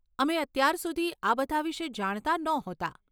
અમે અત્યાર સુધી આ બધાં વિષે જાણતા નહોતાં.